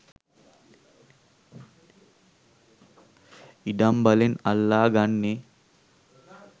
ඉඩම් බලෙන් අල්ලා ගන්නේ